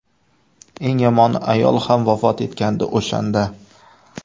Eng yomoni ayol ham vafot etgandi o‘shanda.